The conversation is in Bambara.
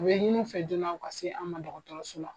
U bɛ ɲini u fɛ joona, u ka se an ma dɔgɔtɔrɔso la.